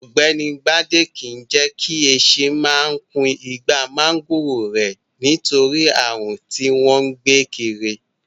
Ọ̀gbẹ́ni Bádé máa kìí jẹ́ kí esin máa kun igbá máńgòrò rẹ̀, nítorí ààrùn tí wọ́n gbé kiri.